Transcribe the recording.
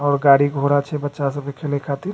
और गाड़ी घोड़ा छै बच्चा सब के खेले के खातिर ।